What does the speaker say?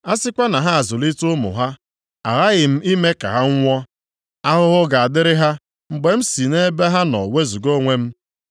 A sịkwa na ha azụlite ụmụ ha, aghaghị m ime ka ha nwụọ. Ahụhụ ga-adịrị ha, mgbe m si nʼebe ha nọ wezuga onwe m.